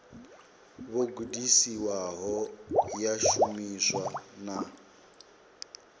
vho gudisiwaho ya shumiswa na